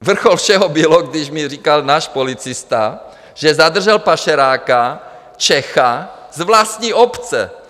Vrchol všeho bylo, když mi říkal náš policista, že zadržel pašeráka - Čecha z vlastní obce!